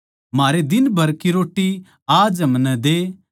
म्हारे दिन भर की रोटी आज हमनै दे